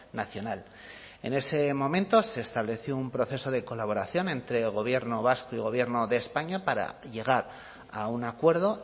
nacional en ese momento se estableció un proceso de colaboración entre el gobierno vasco y gobierno de españa para llegar a un acuerdo